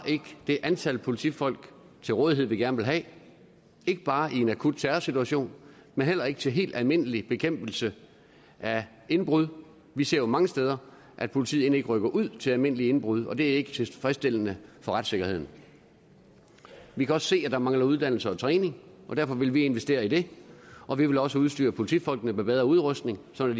det antal politifolk til rådighed vi gerne vil have ikke bare i en akut terrorsituation men heller ikke til helt almindelig bekæmpelse af indbrud vi ser jo mange steder at politiet end ikke rykker ud til almindelige indbrud og det er ikke tilfredsstillende for retssikkerheden vi kan også se at der mangler uddannelse og træning og derfor vil vi investere i det og vi vil også udstyre politifolkene med bedre udrustning sådan